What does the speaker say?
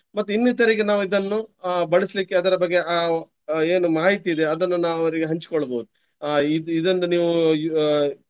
ಮತ್ತೆ ಇನ್ನಿತರಿಗೆ ನಾವಿದನ್ನು ಅಹ್ ಬಳಸಲಿಕ್ಕೆ ಅದರ ಬಗ್ಗೆ ಅಹ್ ಏನು ಮಾಹಿತಿ ಇದೆ ಅದನ್ನು ನಾವು ಅವ್ರಿಗೆ ಹಂಚ್ಕೊಳ್ಬಹುದು. ಅಹ್ ಇದ್~ ಇದೊಂದು ನೀವು ಅಹ್.